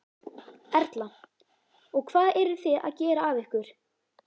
Erla: Og hvað eruð þið að gera af ykkur?